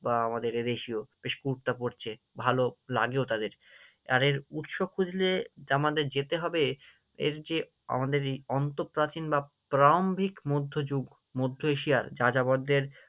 আহ আমাদের এদেশীয় বেশ কুর্তা পড়ছে, ভালো লাগেও তাদের, তাবাদের উৎসব খুঁজলে আমাদের যেতে হবে এর যে আমাদের এই অন্তঃপ্রাচীন বা ত্র্যম্ভিক মধ্যযুগ, মধ্য এশিয়ার যাযাবরদের